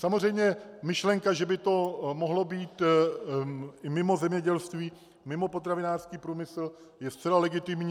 Samozřejmě myšlenka, že by to mohlo být i mimo zemědělství, mimo potravinářský průmysl je zcela legitimní.